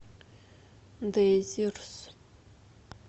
дезирс